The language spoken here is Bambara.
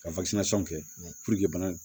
Ka kɛ bana